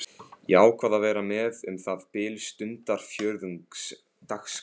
Ég ákvað að vera með um það bil stundarfjórðungs dagskrá.